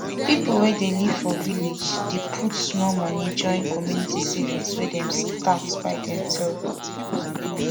people wey dey live for village dey put small money join community savings wey dem start by demself